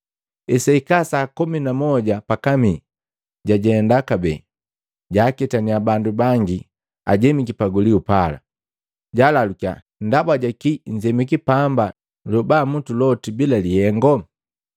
Hesahika saa komi na jimu pakamii jajenda kabee, jwaaketania bandu bangi ajemiki pagulio pala. Jaalalukia, ‘Ndaba jaki nzemiki pamba lyobamutu loti bila lihengu?’